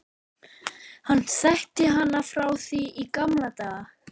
Hann þekkti hana frá því í gamla daga.